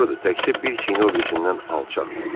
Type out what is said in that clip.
Doğrudur, təkcə bir çiyini o birisindən alçaqdır.